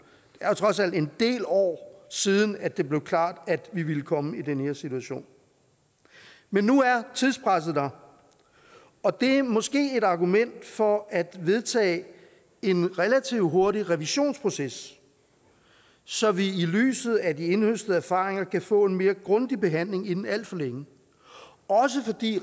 er trods alt en del år siden at det blev klart at vi ville komme i den her situation nu er tidspresset her og det er måske et argument for at vedtage en relativt hurtig revisionsproces så vi i lyset af de indhøstede erfaringer kan få en mere grundig behandling inden alt for længe også fordi